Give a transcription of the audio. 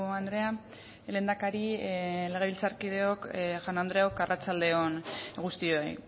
andrea lehendakari legebiltzarkideok jaun andreok arratsalde on guztioi